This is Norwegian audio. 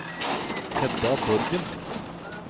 Hedda Borgen